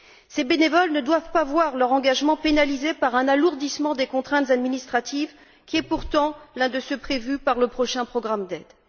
Ces bénévoles ne doivent pas voir leur engagement pénalisé par un alourdissement des contraintes administratives, or c'est ce qui est prévu par le prochain programme d'aide.